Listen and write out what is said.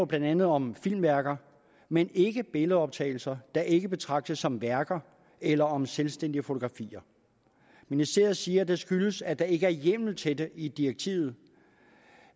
blandt andet om filmværker men ikke om billedoptagelser der ikke betragtes som værker eller om selvstændige fotografier ministeriet siger at det skyldes at der ikke er hjemmel til det i direktivet